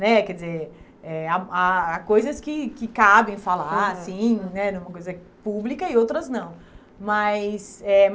né Quer dizer, eh há há há coisas que que cabem falar assim né, numa coisa pública e outras não. Mas eh